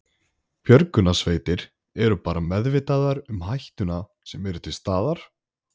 Björgunarsveitir eru bara meðvitaðar um hættuna sem er til staðar?